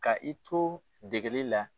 Ka i to degeli la